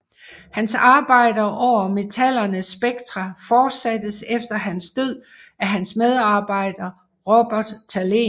Hans arbejder over metallernes spektra fortsattes efter hans død af hans medarbejder Robert Thalén